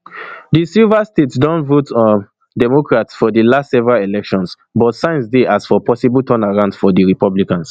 di silver state don vote um democrat for di last several elections but signs dey as for possible turnaround for di republicans